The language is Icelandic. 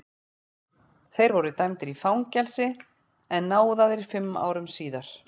Þeir voru dæmdir í fangelsi en náðaðir fimm árum síðar.